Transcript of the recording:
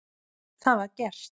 Það var gert.